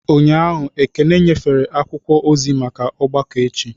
Ụnyahụ, Ekene nyefere akwụkwọ ozi maka ọgbakọ echi.